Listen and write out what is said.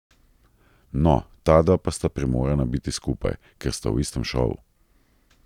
No, tadva pa sta primorana biti skupaj, ker sta v istem šovu.